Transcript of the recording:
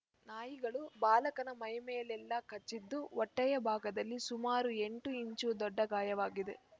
ನಾಯಿಗಳು ಬಾಲಕನ ಮೈ ಮೇಲೆಲ್ಲ ಕಚ್ಚಿದ್ದು ಹೊಟ್ಟೆಯ ಭಾಗದಲ್ಲಿ ಸುಮಾರು ಎಂಟು ಇಂಚು ದೊಡ್ಡ ಗಾಯವಾಗಿದೆ